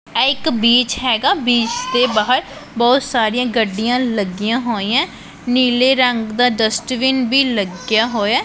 ਇਹ ਇੱਕ ਬੀਚ ਹੈਗਾ ਬੀਚ ਦੇ ਬਾਹਰ ਬਹੁਤ ਸਾਰੀਆਂ ਗੱਡੀਆਂ ਲੱਗੀਆਂ ਹੋਈਐਂ ਨੀਲੇ ਰੰਗ ਦਾ ਡਸਟਬਿਨ ਭੀ ਲੱਗਿਆ ਹੋਇਐ।